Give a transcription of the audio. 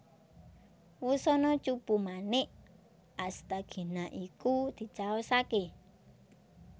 Wusana cupu manik Asthagina iku dicaosaké